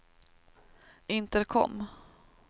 intercom